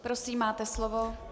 Prosím, máte slovo.